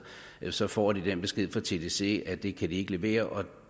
så får de den besked fra tdc at det kan de ikke levere og at